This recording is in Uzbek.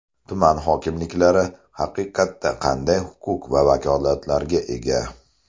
Tuman hokimliklari haqiqatda qanday huquq va vakolatlarga ega?